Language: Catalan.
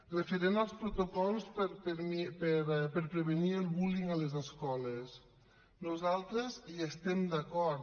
referent als protocols per prevenir el bullying a les escoles nosaltres hi estem d’acord